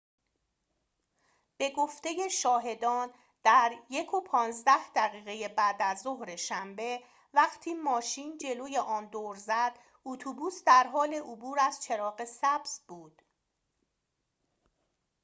به گفته شاهدان در ۱:۱۵ دقیقه بعدازظهر شنبه وقتی ماشین جلوی آن دور زد اتوبوس در حال عبور از چراغ سبز بود